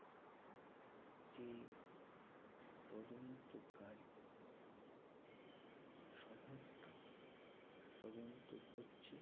যে, তদন্তকারী সংস্থা তদন্ত করছেন